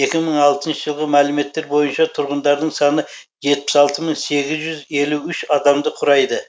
екі мың алтыншы жылғы мәліметтер бойынша тұрғындарының саны жетпіс алты мың сегіз жүз елу үш адамды құрайды